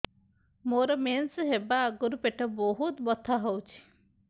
ମୋର ମେନ୍ସେସ ହବା ଆଗରୁ ପେଟ ବହୁତ ବଥା ହଉଚି